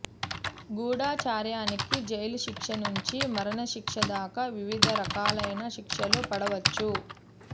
గూఢచర్యానికి జైలుశిక్ష నుంచి మరణశిక్ష దాకా వివిధ రకాలైన శిక్షలు పడవచ్చు